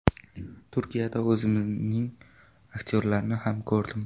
Turkiyada o‘zimizning aktyorlarni ham ko‘rdim.